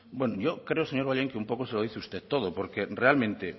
bueno yo creo señor bollain que un poco se lo dice usted todo porque realmente